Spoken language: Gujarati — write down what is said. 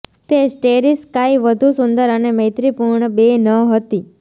તે સ્ટેરી સ્કાય વધુ સુંદર અને મૈત્રીપૂર્ણ બે ન હતી